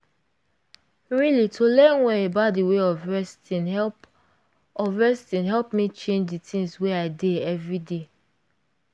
really to learn well about d way of resting help of resting help me change d things wey i dey everyday.